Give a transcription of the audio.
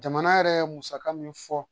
Jamana yɛrɛ ye musaka min fɔ